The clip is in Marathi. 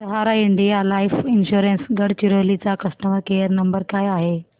सहारा इंडिया लाइफ इन्शुरंस गडचिरोली चा कस्टमर केअर नंबर काय आहे